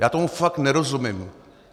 Já tomu fakt nerozumím.